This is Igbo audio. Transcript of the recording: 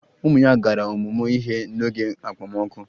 Ụmụ ya gara ọmụmụ ihe n'oge okpomọkụ